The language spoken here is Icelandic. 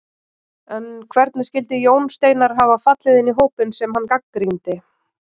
En hvernig skyldi Jón Steinar hafa fallið inn í hópinn sem hann gagnrýndi?